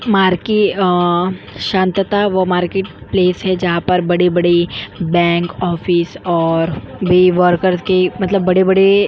मार्के अ शांतता और मार्केट प्लेस है जहा बड़े बड़े बैंक ऑफिस और वे वर्कर मतलब के बड़े बड़े --